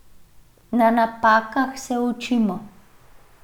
Na napakah se učimo.